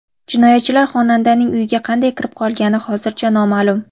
Jinoyatchilar xonandaning uyiga qanday kirib qolgani hozircha noma’lum.